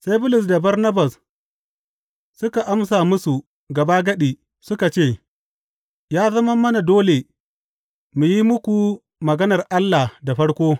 Sai Bulus da Barnabas suka amsa musu gabagadi, suka ce, Ya zama mana dole mu yi muku maganar Allah da farko.